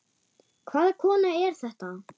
Hvaða kona er þetta?